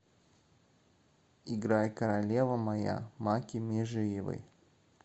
играй королева моя макки межиевой